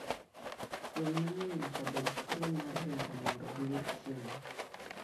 Winy mang'eny nyaka bed thuolo mar ringo mondo giyud chiemo.